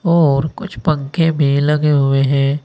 और कुछ पंखे भी लगे हुए हैं।